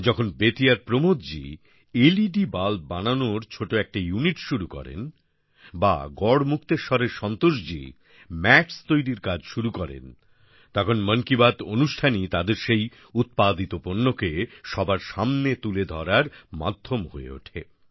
যখন বেতিয়ার Pramod ji LED bulb বানানোর ছোট একটা ইউনিট শুরু করেন বা গড়মুক্তেশ্বরএর সন্তোষ জি মেটস তৈরি করার কাজ শুরু করেন তখন মন কি বাত অনুষ্ঠানই তাদের সেই উৎপাদিত পণ্যকে সবার সামনে তুলে ধরার মাধ্যম হয়ে ওঠে